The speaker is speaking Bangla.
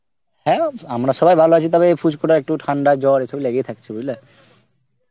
হ্যাঁ আমরা সবাই ভালো আছি তবে পুচকু টা ঠান্ডা জর এই সব লেগেই আছে